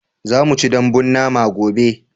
za mu ci dambun nama gobe